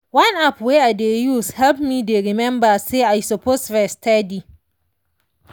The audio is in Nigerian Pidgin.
one app wey i dey use help me dey remember say i suppose rest steady.